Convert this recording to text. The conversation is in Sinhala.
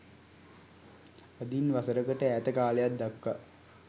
අදින් වසරකට ඈත කාලයක් දක්වා